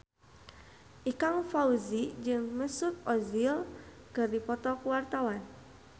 Ikang Fawzi jeung Mesut Ozil keur dipoto ku wartawan